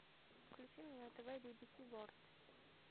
включи мне на тв би би си ворлд